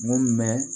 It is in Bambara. Mun mɛn